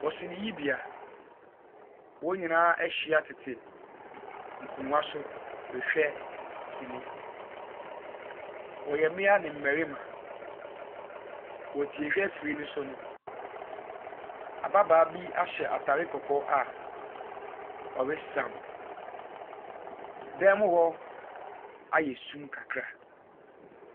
Wɔ siniyibea. Wɔn nyinaa tete nkonnwa so rehwɛ sini. Wɔyɛ mmea ne mmarima. Wɔ tie-hwɛ afiri no so no, ababaawa bi ahyɛ atare kɔkɔɔ a ɔresaw. Dan mu hɔ ayɛ sum kakra.